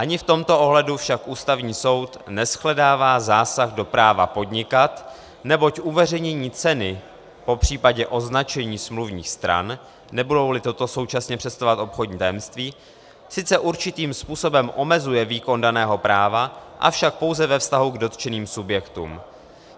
Ani v tomto ohledu však Ústavní soud neshledává zásah do práva podnikat, neboť uveřejnění ceny, popřípadě označení smluvních stran, nebudou-li tyto současně představovat obchodní tajemství, sice určitým způsobem omezuje výkon daného práva, avšak pouze ve vztahu k dotčeným subjektům.